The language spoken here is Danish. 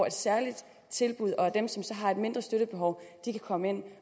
et særligt tilbud og at dem som så har mindre støttebehov kan komme ind